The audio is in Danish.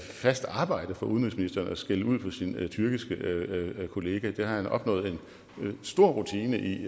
fast arbejde for udenrigsministeren at skælde ud på sin tyrkiske kollega det har han opnået en stor rutine i